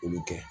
Olu kɛ